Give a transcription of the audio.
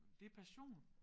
Det passion